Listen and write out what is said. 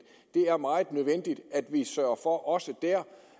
er meget nødvendigt at vi sørger for også der